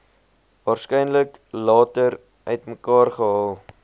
waarskynlik later uitmekaargehaal